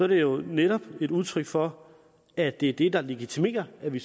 det jo netop et udtryk for at det er det der legitimerer at vi